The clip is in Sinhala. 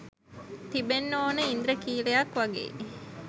තියෙන්නෙ ඕන ඉන්ද්‍රඛීලයක් වගෙයි